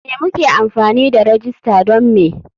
Me muke amfani da rajista don me?